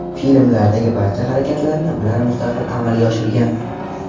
Filmlardagi barcha harakatlarni ular mustaqil amalga oshirgan.